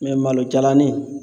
Mɛ malo jalanin